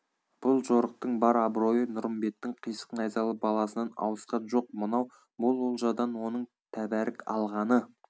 бұл жорықтың бар абыройы нұрымбеттің қисық найзалы баласынан ауысқан жоқ мынау мол олжадан оның тәбәрік алғаны